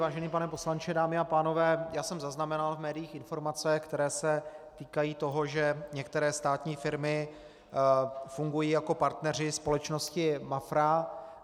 Vážený pane poslanče, dámy a pánové, já jsem zaznamenal v médiích informace, které se týkají toho, že některé státní firmy fungují jako partneři společnosti Mafra.